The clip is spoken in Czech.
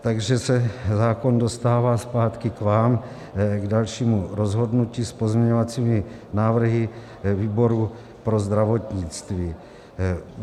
Takže se zákon dostává zpátky k vám k dalšímu rozhodnutí s pozměňovacími návrhy výboru pro zdravotnictví.